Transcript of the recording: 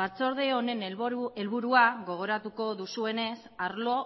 batzorde honen helburua gogoratuko duzuenez arlo